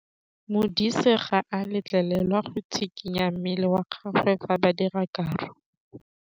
Modise ga a letlelelwa go tshikinya mmele wa gagwe fa ba dira karô.